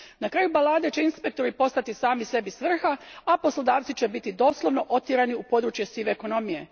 Na kraju balade će inspektori postati sami sebi svrha, a poslodavci će biti doslovno otjerani u područje sive ekonomije.